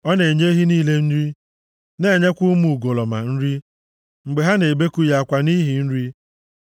Ọ na-enye ehi niile nri na-enyekwa ụmụ ugolọma nri mgbe ha na-ebeku ya akwa nʼihi nri.